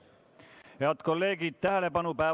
Head kolleegid, tähelepanu!